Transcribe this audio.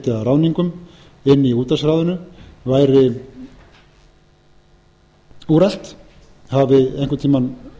ráðningum inni í útvarpsráðinu væri úrelt hafi hún einhvern tímann